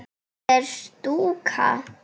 Hvað er stúka?